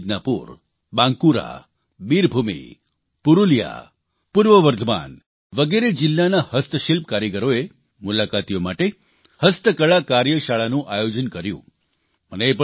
તેમાં પશ્ચિમ મીદનાપુર બાંકુરા બિરભૂમ પૂરૂલિયા પૂર્વ વર્ધમાન વગેરે જીલ્લાના હસ્તશિલ્પ કલાકારોએ મુલાકાતીઓ માટે હસ્તકળા કાર્યશાળાનું આયોજન કર્યું